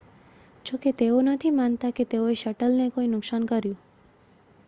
જો કે તેઓ નથી માનતા કે તેઓએ શટલને કોઈ નુકસાન કર્યું